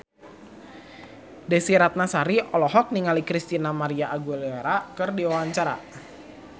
Desy Ratnasari olohok ningali Christina María Aguilera keur diwawancara